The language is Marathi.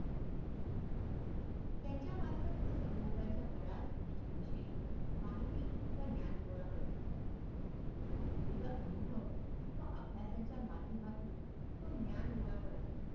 त्यांच्या मार्फत तो सभोवताल चा बराच गोष्टी विषयी माहितीव ज्ञान गोळा करत असतो विविध अनुभव व अभ्यासाचा मानधमातून तो ज्ञान गोळा करत असतो